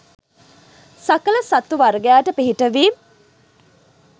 සකල සත්ව වර්ගයාට පිහිටවීම්